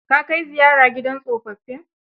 Ka kai ziyara gidan tsofaffin?